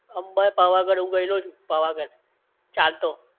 અંબા એ, પાવાગઢ હું ગયેલો છું પાવાગઢ ચાલતો